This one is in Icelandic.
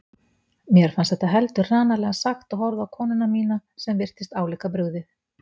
Mér fannst þetta heldur hranalega sagt og horfði á konuna mína sem virtist álíka brugðið.